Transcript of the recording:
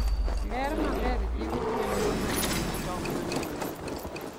Ler maber jiwo gwen mondo oket tong' mang'eny.